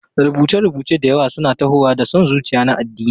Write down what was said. Rubuce-rubuce da yawa suna tahowa da son zuciya na addini.